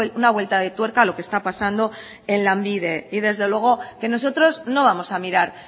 una vuelta de tuerca lo que está pasando en lanbide y desde luego que nosotros no vamos a mirar